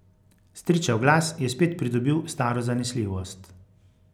Stričev glas je spet pridobil staro zanesljivost.